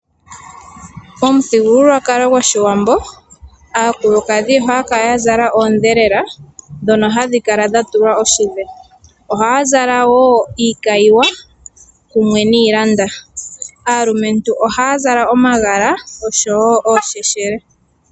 Omuthigululwakalo goshiwambo aakulukadhi ohaya kala yazala oodhelela dhono hadhi kala dhatulwa oshidhe, ohaya zala wo iikayiwa kumwe niilanda. Aalumentu ohaya zala omagala osho wo oosheshele.